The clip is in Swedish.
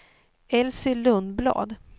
Elsy Lundblad